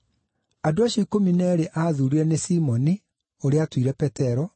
Andũ acio ikũmi na eerĩ aathuurire nĩ Simoni (ũrĩa aatuire Petero);